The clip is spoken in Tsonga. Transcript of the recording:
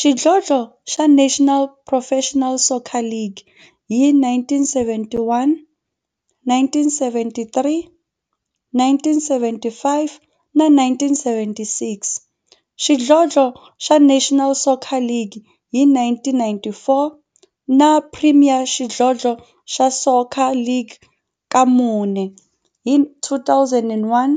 xidlodlo xa National Professional Soccer League hi 1971, 1973, 1975 na 1976, xidlodlo xa National Soccer League hi 1994, na Premier Xidlodlo xa Soccer League ka mune, hi 2001,